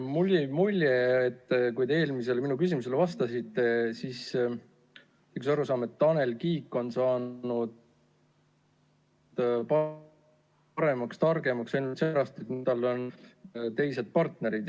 Mulle jäi mulje, kui te minu eelmisele küsimusele vastasite, et on arusaam, et Tanel Kiik on saanud paremaks ja targemaks ainult seepärast, et tal on teised partnerid.